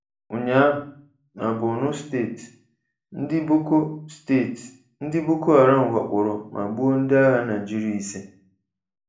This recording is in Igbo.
Ụnyaahụ, na Bornu steeti, ndị Boko steeti, ndị Boko Haram wakporo ma gbuo ndị agha Naịjirịa ise.